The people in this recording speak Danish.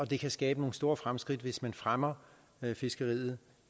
det kan skabe nogle store fremskridt hvis man fremmer fiskeriet